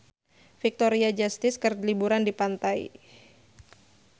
Victoria Justice keur liburan di pantai